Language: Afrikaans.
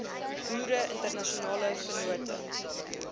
boere internasionale vennote